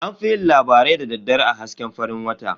An fi yin labarai da daddare a hasken farin wata.